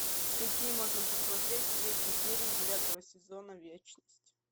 какие можно посмотреть третью серию девятого сезона вечность